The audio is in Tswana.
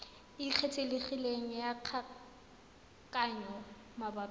e kgethegileng ya kgaoganyo mabapi